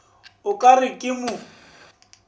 o ka re ke mo